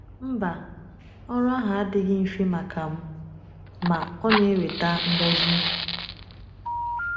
Mba, ọrụ ahụ adịghị mfe maka m, ma ọ na-eweta ngọzi.